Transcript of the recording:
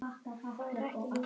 Ekki gera þessi mistök.